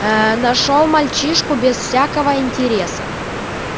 нашёл мальчишку без всякого интереса